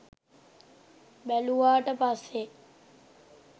බැලුවාට පස්සේ